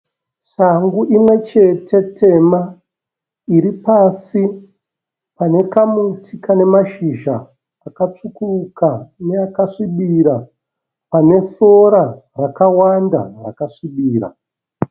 Shangu imwe chete tema iri pasi pane kamuti kane mashizha akatsvukuruka neakasvibirira pane sora rakawanda rakasvibirira.